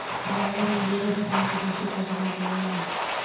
यावरून विरोधकांकडून टीका करण्यात आली.